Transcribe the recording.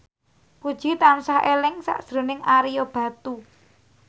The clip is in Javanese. Puji tansah eling sakjroning Ario Batu